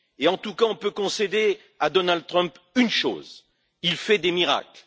En tout cas, on peut concéder à Donald Trump une chose il fait des miracles.